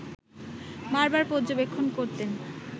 বারবার পর্যবেক্ষণ করতেন